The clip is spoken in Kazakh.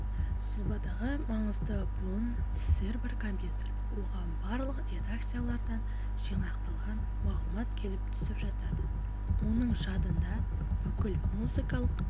сызбадағы маңызды буын сервер-компьютер оған барлық редакциялардан жинақталған мағлұмат келіп түсіп жатады оның жадында бүкіл музыкалық